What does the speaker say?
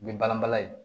U ye balan balan ye